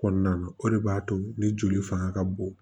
Kɔnɔna na o de b'a to ni joli fanga ka bon